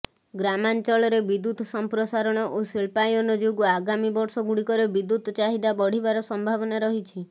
ଗ୍ରାମାଞ୍ଚଳରେ ବିଦ୍ୟୁତ ସମ୍ପ୍ରସାରଣ ଓ ଶିଳ୍ପାୟନ ଯୋଗୁଁ ଆଗାମୀ ବର୍ଷଗୁଡ଼ିକରେ ବିଦ୍ୟୁତ୍ ଚାହିଦା ବଢ଼ିବାର ସମ୍ଭାବନା ରହିଛି